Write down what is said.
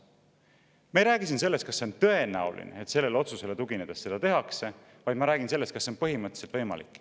Ma ei räägi siin sellest, kas see on tõenäoline, et sellele otsusele tuginedes seda tehakse, vaid ma räägin sellest, kas see on põhimõtteliselt võimalik.